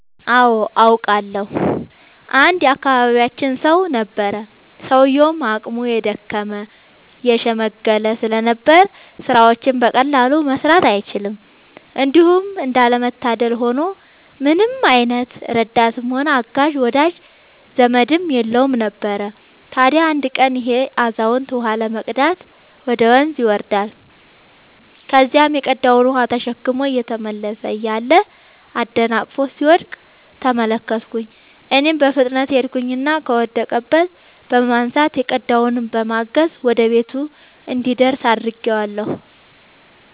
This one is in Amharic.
አዎ አውቃለሁ። አንድ የአካባቢያችን ሰው ነበረ፤ ሰውዬውም አቅሙ የደከመ የሽምገለ ስለነበር ስራዎችን በቀላሉ መስራት አይችልም። እንዲሁም እንዳለ መታደል ሆኖ ምንም አይነት ረዳትም ሆነ አጋዥ ወዳጅ ዘመድም የለውም ነበር። ታዲያ አንድ ቀን ይሄ አዛውንት ውሃ ለመቅዳት ወደ ወንዝ ይወርዳል። ከዚያም የቀዳውን ውሃ ተሸክሞ እየተመለሰ እያለ አደናቅፎት ሲወድቅ ተመለከትኩኝ እኔም በፍጥነት ሄድኩኝና ከወደቀበት በማንሳት የቀዳውንም በማገዝ ወደ ቤቱ እንዲደርስ አድርጌአለሁ።